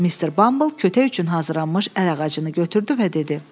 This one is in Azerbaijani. Mister Bamble kötək üçün hazırlanmış əl ağacını götürdü və dedi: